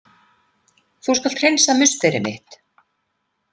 Þú skalt hreinsa musteri mitt!